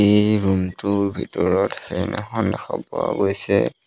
এই ৰুম টোৰ ভিতৰত ফেন এখন দেখা পোৱা গৈছে।